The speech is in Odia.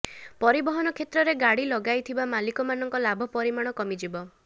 ପରିବହନ କ୍ଷେତ୍ରରେ ଗାଡ଼ି ଲଗାଇଥିବା ମାଲିକମାନଙ୍କ ଲାଭ ପରିମାଣ କମିଯିବ